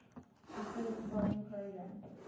consider the following program